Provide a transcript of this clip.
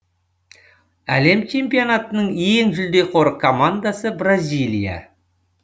әлем чемпионатының ең жулдеқор командасы бразилия